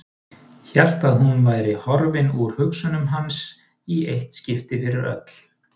Hélt að hún væri horfin úr hugsunum hans í eitt skipti fyrir öll.